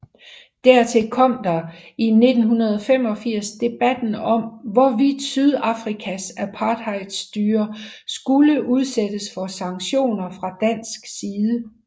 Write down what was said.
Dertil kom der i 1985 debatten om hvorvidt Sydafrikas apartheidstyrer skulle udsættes for sanktioner fra dansk side